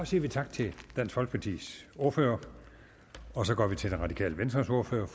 siger tak til dansk folkepartis ordfører og så går vi til det radikale venstres ordfører